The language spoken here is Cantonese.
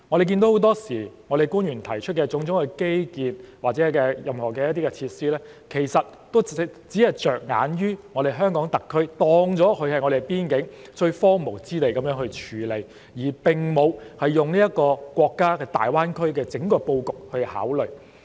很多時候，我們看到官員提出的種種基建或設施建議，其實只着眼於香港特區，把邊境視作最荒蕪的地方來處理，並沒有從國家大灣區的整個布局來考慮。